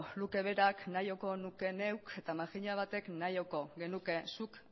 luke berak nahiko nuke neuk eta makina batek nahiko genuke zuk